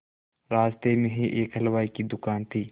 रास्ते में ही एक हलवाई की दुकान थी